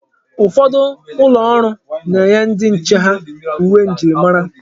Ụfọdụ ụlọ ọrụ na-enye ndi nche ha uwe njirimara.